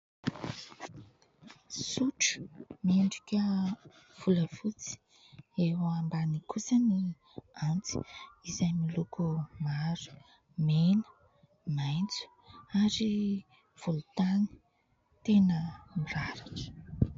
Sotro mendrika volafotsy, eo ambaniny kosa ny antsy izay miloko mavo, mena, maitso ary volontany tena miraratra.